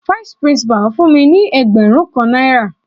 Vice principal fún mi ní ẹgbẹrun kan náírà.